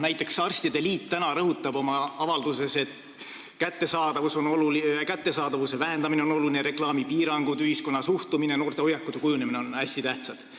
Näiteks rõhutab arstide liit oma tänases avalduses, et alkoholi kättesaadavuse vähendamine, reklaamipiirangud, ühiskonna suhtumine ja noorte hoiakute kujunemine on hästi tähtsad.